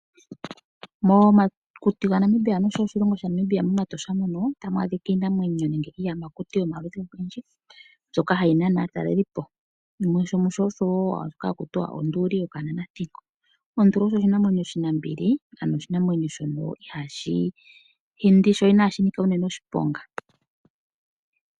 Momakuti noshowo oshilongo shaNamibia mEtosha mono ota mu adhika iinamwenyo nenge iiyamakuti yomaludhi ogendji mbyoka hayi nana aatalelipo shimwe osho hakuti wa onduli yokananethingo. Onduli oshinamwenyo oshinambili ano oshinamwenyo shono iha shi hindi sho ina shi nika unene oshiponga.